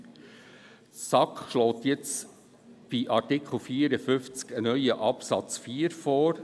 Die SAK schlägt jetzt bei Artikel 54 einen neuen Absatz 4 vor.